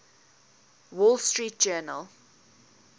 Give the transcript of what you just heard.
wall street journal